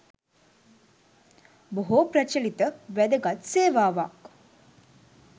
බොහෝ ප්‍රචලිත වැදගත් සේවාවක්.